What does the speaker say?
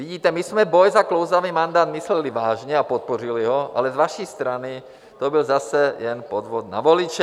Vidíte, my jsme boj za klouzavý mandát mysleli vážně a podpořili ho, ale z vaší strany to byl zase jen podvod na voliče.